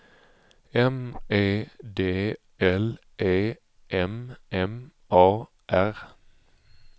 M E D L E M M A R